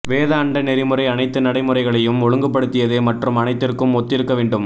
வேத அண்ட நெறிமுறை அனைத்து நடைமுறைகளையும் ஒழுங்குபடுத்தியது மற்றும் அனைத்திற்கும் ஒத்திருக்க வேண்டும்